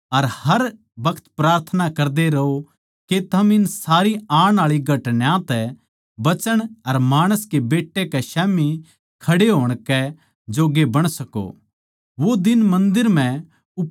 इस करकै जागदे रहो अर हर बखत प्रार्थना करदे रहो के थम इन सारी आण आळी घटनायां तै बचण अर माणस के बेट्टे कै स्याम्ही खड़े होण कै जोग्गे बण सको